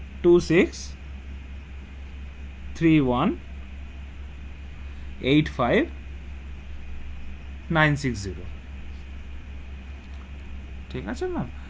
Two six three one eight five nine six zero ঠিক আছে ma'am.